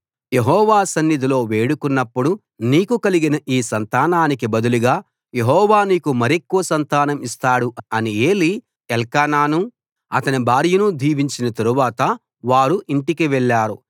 యెహోవా సన్నిధిలో వేడుకొన్నప్పుడు నీకు కలిగిన ఈ సంతానానికి బదులుగా యెహోవా నీకు మరెక్కువ సంతానం ఇస్తాడు అని ఏలీ ఎల్కానాను అతని భార్యను దీవించిన తరువాత వారు ఇంటికి వెళ్ళారు